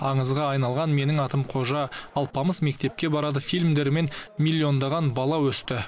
аңызға айналған менің атым қожа алпамыс мектепке барады фильмдерімен миллиондаған бала өсті